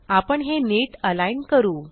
आपण हे नीट अलाईन करू